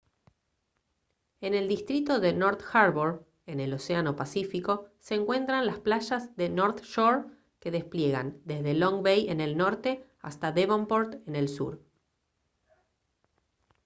en el distrito de north harbour en el océano pacífico se encuentran las playas de north shore que despliegan desde long bay en el norte hasta devonport en el sur